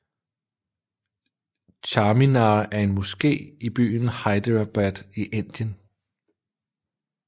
Charminar er en moské i byen Hyderabad i Indien